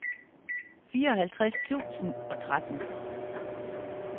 fireoghalvtreds tusind og tretten